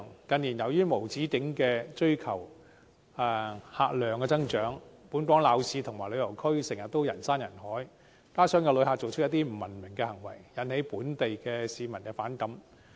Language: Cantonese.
近年，由於無止境地追求客量增長，本港鬧市和旅遊區經常人山人海，加上有些旅客的不文明行為，令本地市民產生反感。